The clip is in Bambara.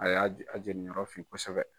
A y'a jira a jeninyɔrɔ fin kosɛbɛ.